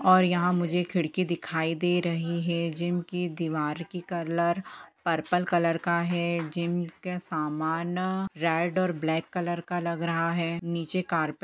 और यहाँ मुझे खिड़की दिखाई दे रही है जिम की दीवार की कलर पर्पल कलर का है जिम के सामान रेड और ब्लैक कलर का लग रहा है निचे कार्पे--